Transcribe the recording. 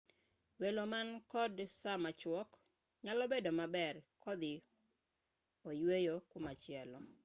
welo man kod saa machuok nyalo bedo maber kodhi oyweyo kumachielo